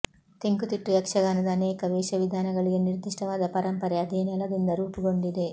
ತೆಂಕುತಿಟ್ಟು ಯಕ್ಷಗಾನದ ಅನೇಕ ವೇಷವಿಧಾನಗಳಿಗೆ ನಿರ್ದಿಷ್ಟವಾದ ಪರಂಪರೆ ಅದೇ ನೆಲದಿಂದಲೇ ರೂಪುಗೊಂಡಿದೆ